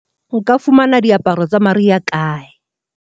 nka fumana diaparo tsa mariha kae selemong sena